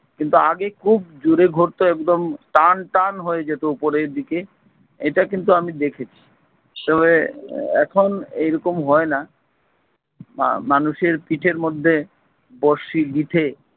কিন্তু আগে খুব জোরে ঘুরতো একদম টানটান হয়ে যেত উপরে দিকে এটা কিন্তু আমি দেখেছি। সবে এখন এরকম হয়না। মা~ মানুষের পিঠের মধ্যে বড়শি গিথে।